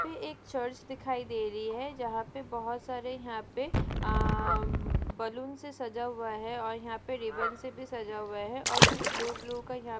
यहाँ पे एक चर्च दिखाई दे रही है जहा पे बहुत सारे यहाँ पे आ बलून्स सजा हुआ है और यहाँ पे रिबेनसे भी सजा हुआ है और कुछ ब्लू ब्लूका--